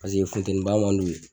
funteniba man di u ye